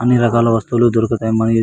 అన్ని రకాల వస్తువులు దొరకుతాయి.